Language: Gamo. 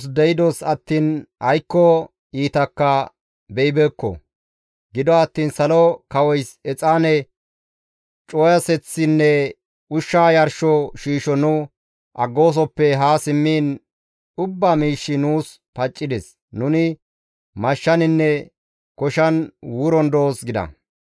Gido attiin Salo Kawoys exaane cuwaseththinne ushsha yarsho shiisho nu aggoosoppe haa simmiin ubbaa miishshi nuus paccides; nuni mashshaninne koshan wuron doos» gida.